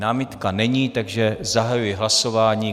Námitka není, takže zahajuji hlasování.